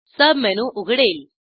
submenu उघडेल